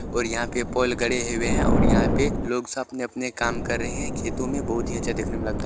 और यहाँ पे पोल खड़े हुए हैं और यहाँ पे लोग सब अपने अपने काम कर रहे हैं खेतों में बहुत ही अच्छा देखने लगता --